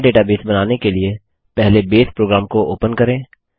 नया डेटाबेस बनाने के लिएपहले बसे programबेस प्रोग्राम को ओपन करें